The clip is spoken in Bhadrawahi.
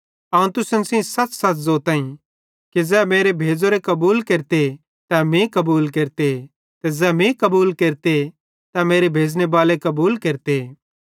अवं तुसन सेइं सच़सच़ ज़ोताईं कि ज़ै मेरे भेज़ोरे कबूल केरते तै मीं कबूल केरते ते ज़ै मीं कबूल केरते तै मेरे भेज़नेबाले बाले कबूल केरते